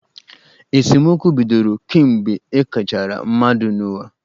Esemokwu bidoro kemgbe ekechara mmadụ n'ụwa.